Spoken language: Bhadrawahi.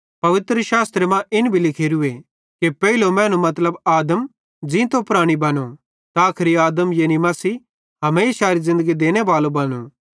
पवित्रशास्त्रे मां इन भी लिखोरूए कि पेइलो मैनू मतलब आदम ज़ींतो प्राणी बनो त आखरी आदम यानी मसीह हमेशारी ज़िन्दगी देनेबालो बनो